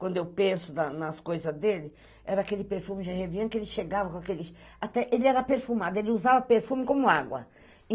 Quando eu penso nas coisas dele, era aquele perfume Gervian que ele chegava com aquele... Até ele era perfumado, ele usava perfume como água.